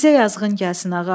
Bizə yazığın gəlsin, ağa.